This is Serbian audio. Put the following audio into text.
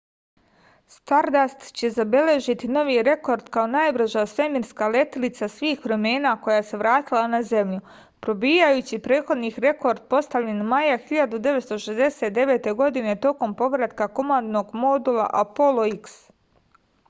stardast će zabeležiti novi rekord kao najbrža svemirska letilica svih vremena koja se vratila na zemlju probijajući prethodni rekord postavljen maja 1969. godine tokom povratka komandnog modula apolo x